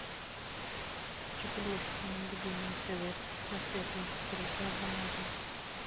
хочу пельмешки мои любимые цезарь разноцветные которые килограммовые